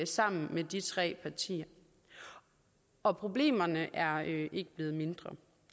sammen med de tre partier og problemerne er ikke blevet mindre